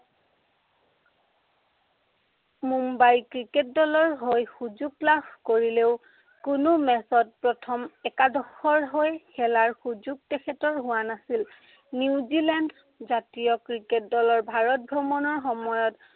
Mumbai cricket দলৰ হৈ সুযোগ লাভ কৰিলেও, কোনো match ত প্ৰথম একাদশৰ হৈ খেলাৰ সুযোগ তেখেতৰ হোৱা নাছিল। নিউজিলেণ্ড জাতীয় ক্ৰিকেট দলৰ ভাৰত ভ্ৰমণৰ সময়ত